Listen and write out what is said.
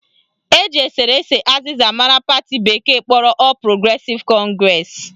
Eji eserese azịza mara pati bekee kpọrọ All Progressive Congress